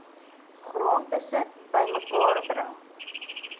grondbesit bymekaar bring